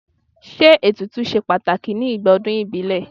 Ṣé ètùtù ṣe pàtàkì ní igbà ọdún ìbílẹ̀?